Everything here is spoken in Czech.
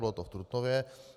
Bylo to v Trutnově.